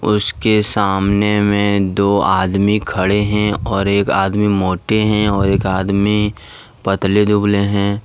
उसके सामने में दो आदमी खड़े हैं और एक आदमी मोटे हैं और एक आदमी पतले दुबले हैं।